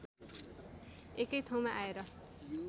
एकै ठाउँमा आएर